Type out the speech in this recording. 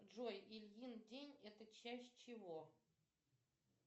джой ильин день это часть чего